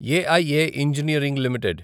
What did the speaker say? AIA engineering limited